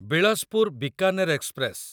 Bilaspur Bikaner express